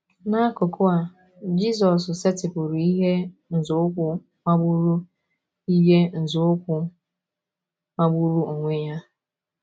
N’akụkụ a, Jizọs setịpụrụ ihe nzọụkwụ magburu ihe nzọụkwụ magburu onwe ya.